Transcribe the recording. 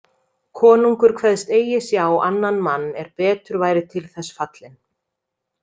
Konungur kveðst eigi sjá annan mann er betur væri til þess fallinn.